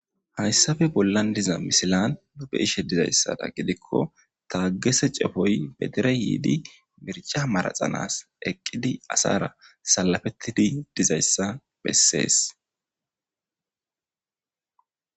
Hayssafe bollan diza misilan dube ishe dizayssada gidikko taagese cefoy be dere yiidi mirca maraxanas eqqidi asara salafettidi dizayssa bessees.